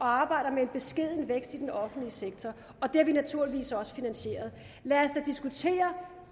arbejder med en beskeden vækst i den offentlige sektor det har vi naturligvis også finansieret lad os da diskutere